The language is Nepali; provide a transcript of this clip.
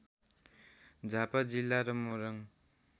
झापा जिल्ला र मोरङ